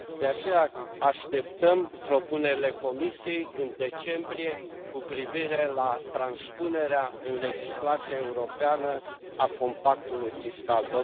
De aceea, așteptăm propunerile Comisiei în decembrie cu privire la transpunerea în legislația europeană a compactului fiscal.